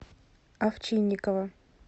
овчинникова